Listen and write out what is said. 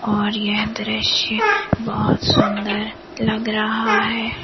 और यह दृश्य बहोत सुंदर लग रहा है।